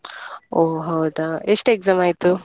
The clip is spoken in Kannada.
ಓ ಹೌದಾ ಎಷ್ಟು exam ಆಯ್ತು?